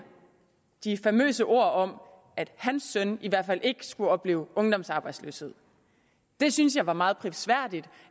de famøse ord om at hans søn i hvert fald ikke skulle opleve ungdomsarbejdsløshed det synes jeg var meget prisværdigt